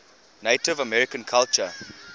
native american culture